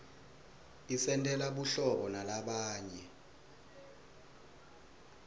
isentela buhlobo nalabanye